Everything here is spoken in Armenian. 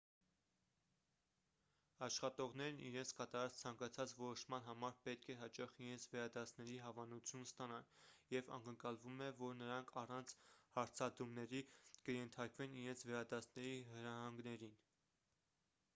աշխատողներն իրենց կատարած ցանկացած որոշման համար պետք է հաճախ իրենց վերադասների հավանությունն ստանան և ակնկալվում է որ նրանք առանց հարցադրումների կենթարկվեն իրենց վերադասների հրահանգներին